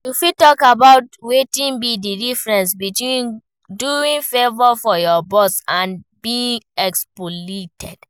You fit talk about wetin be di difference between doing favor for your boss and being exploited.